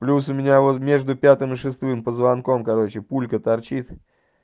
плюс у меня вот между пятым и шестым позвонком короче пулька торчит